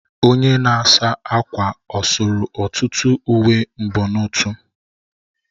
Onye na-asa ákwà ọ sụrụ ọtụtụ uwe mbonotu?